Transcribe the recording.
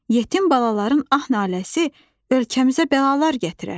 Yetim balaların ah-naləsi ölkəmizə bəlalar gətirər.